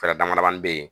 Fɛɛrɛ dama damani bɛ ye